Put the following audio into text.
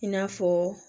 I n'a fɔ